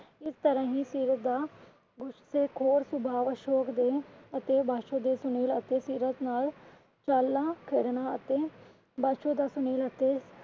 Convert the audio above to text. ਇਸ ਤਰਾਂ ਹੀ ਸੀਰਤ ਦਾ ਗੁੱਸੇਖੋਰ ਸੁਭਾਵ ਅਸ਼ੋਕ ਦੇ ਅਤੇ ਬਾਸ਼ੋ ਦੇ ਸੁਨੀਲ ਅਤੇ ਸੀਰਤ ਨਾਲ ਕਰਨ ਵਾਸਤੇ